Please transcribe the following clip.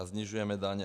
A snižujeme daně.